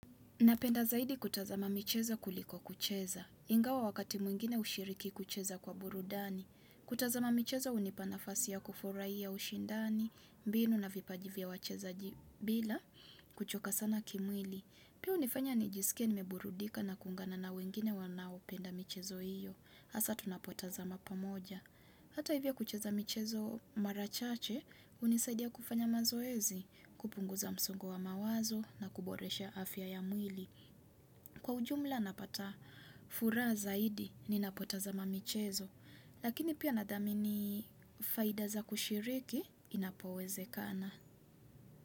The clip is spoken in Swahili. Napenda zaidi kutazama michezo kuliko kucheza. Ingawa wakati mwingine ushiriki kucheza kwa burudani. Kutazama mchezo unipa nafasi ya kuforai ya ushindani, mbinu na vipaji vya wachezaji bila, kuchoka sana kimwili. Pia unifanya ni jisikie nimeburudika na kuungana na wengine wanaopenda michezo hiyo. Asa tunapotazama pamoja. Hata hivyo kucheza michezo mara chache, unisaidia kufanya mazoezi, kupunguza msongo wa mawazo na kuboresha afya ya mwili. Kwa ujumla napata furahja zaidi ninapotazama michezo. Lakini pia nadhamini faida za kushiriki inapowezekana.